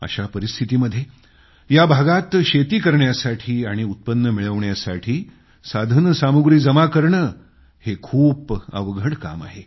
अशा परिस्थितीमध्ये या भागात शेती करण्यासाठी आणि उत्पन्न मिळवण्यासाठी साधनसामुग्री जमा करणं खूप अवघड काम आहे